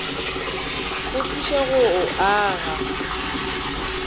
go thuše go o aga